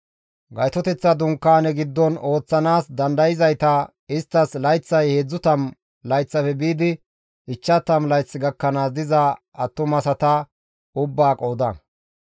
Gaytoteththa Dunkaane giddon ooththanaas dandayzayta isttas layththay 30 layththafe biidi 50 layth gakkanaas diza attumasata ubbaa qooda.